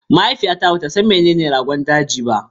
Mahaifiyata bata san menene Rogon daji ba